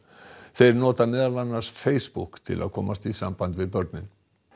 þeir nota meðal annars Facebook til að komast í samband við börnin